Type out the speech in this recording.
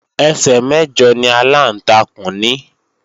Ẹsẹ̀ mẹ̀jọ ni aláǹtakùn ní